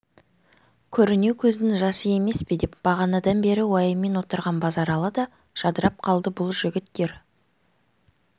көрінеу көздің жасы емес пе деп бағанадан бері уайыммен отырған базаралы да жадырап қалды бұл жігіттер